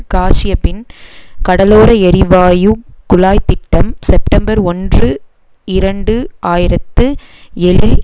காஸ்யபின் கடலோர எரிவாயு குழாய் திட்டம் செப்டம்பர் ஒன்று இரண்டு ஆயிரத்து ஏழில்